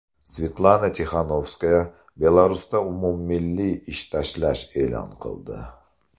Svetlana Tixanovskaya Belarusda umummilliy ish tashlash e’lon qildi.